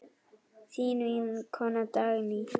Þín vinkona Dagný.